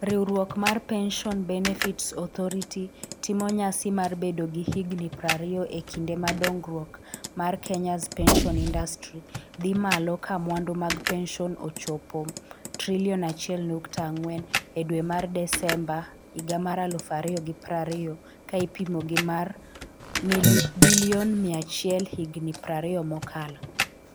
Riwruok mar Pension Benefits Authority (RBA) timo nyasi mar bedo gi higni 20 e kinde ma dongruok mar Kenya's Pension Industry dhi malo ka mwandu mag pension ochopo Kshs 1.4 trillion e dwe mar Desemba 2020 ka ipimo gi mar sh100bn higni 20 mokalo.